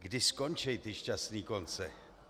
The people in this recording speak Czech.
Kdy skončí ty šťastné konce?